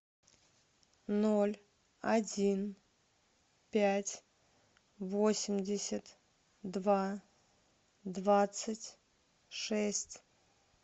ноль один пять восемьдесят два двадцать шесть